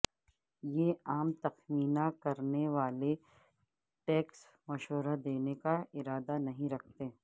یہ عام تخمینہ کرنے والے ٹیکس مشورہ دینے کا ارادہ نہیں رکھتے